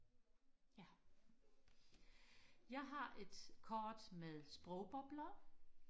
ja jeg har et kort med sprogbobler